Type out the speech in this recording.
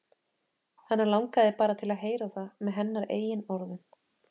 Hann langaði bara til að heyra það með hennar eigin orðum.